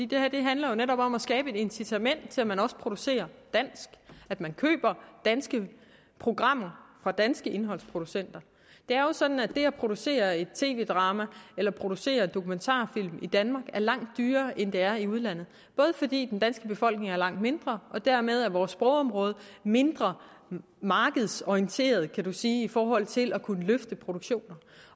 det her handler netop om at skabe et incitament til at man også producerer dansk at man køber danske programmer fra danske indholdsproducenter det er jo sådan at det at producere et tv drama eller producere en dokumentarfilm i danmark er langt dyrere end det er i udlandet fordi den danske befolkning er langt mindre og dermed er vores sprogområde mindre markedsorienteret kan man sige i forhold til at kunne løfte produktioner